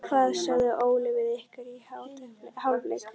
Hvað sagði Óli við ykkur í hálfleik?